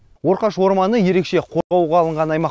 орқаш орманы ерекше қорғауға алынған аймақ